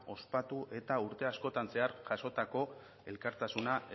ospatu eta urte askotan zehar jasotako elkartasuna